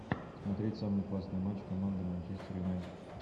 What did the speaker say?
смотреть самый классный матч команды манчестер юнайтед